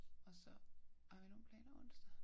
Og så har vi nogen planer onsdag?